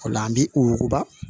O la an bi u wuguba